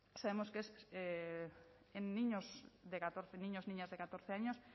pues ya sabemos que es en niños de catorce niños niñas de catorce años